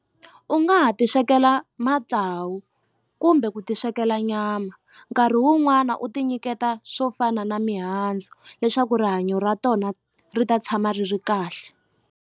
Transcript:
U nga ha ti swekela matsawu kumbe ku ti swekela nyama nkarhi wun'wana u ti nyiketa swo fana na mihandzu leswaku rihanyo ra tona ri ta tshama ri ri kahle.